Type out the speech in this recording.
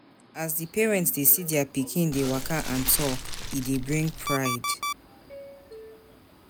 As di parent dey see their pikin dey waka and talk, e dey bring pride